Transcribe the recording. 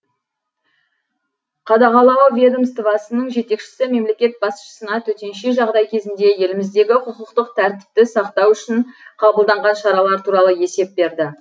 қадағалау ведомствосының жетекшісі мемлекет басшысына төтенше жағдай кезінде еліміздегі құқықтық тәртіпті сақтау үшін қабылданған шаралар туралы есеп берді